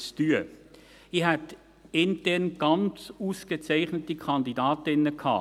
Intern hätte ich ausgezeichnete Kandidatinnen gehabt.